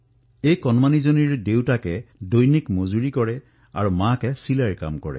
এই শিশুটিৰ পিতৃয়ে দৈনিক হাজিৰা কৰে আৰু মাক শিপিনী